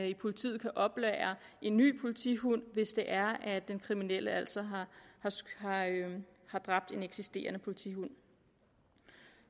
at politiet kan oplære en ny politihund hvis det er at den kriminelle altså har dræbt en politihund